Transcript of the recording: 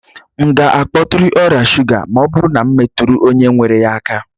M ga-akpọtụrụ ọrịa shuga ma ọ bụrụ na m metụrụ onye nwere ya aka?